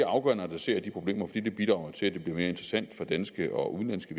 afgørende at adressere de problemer fordi det bidrager til at det bliver mere interessant for danske og udenlandske